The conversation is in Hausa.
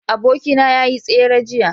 abokina ya yi tsere jiya